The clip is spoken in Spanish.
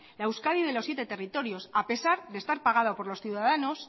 la euskadi de los siete territorios a pesar de estar pagada